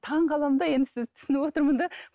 таңғаламын да енді сізді түсініп отырмын да